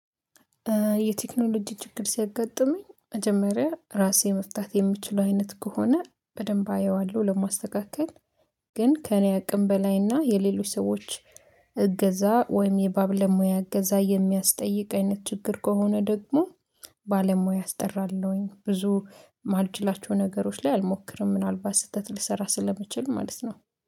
የቴክኖሎጂ ችግር ሲያጋጥመኝ መጀመሪያ ራሴ መፍታት የምችለው አይነት ከሆነ በደንብ አየዋለሁ ለማስተካከል። ግን ከእኔ አቅም በላይና የሌሎች ሰዎች እገዛ ወይም የባ ለሙያ አገዛ የሚያስጠይቅ አይነት ችግር ከሆነ ደግሞ። ባለሙያ አስጠራለሁኝ ብዙ ማልችላቸው ነገሮች ላይ አልሞክርም ምናልባት ስህተት ልሰራ ስለምችል ማለት ነው